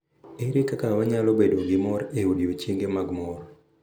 Ere kaka wanyalo bedo gi mor e odiochienge mag mor?